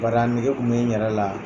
Bari a nege tun bɛ n yɛrɛ la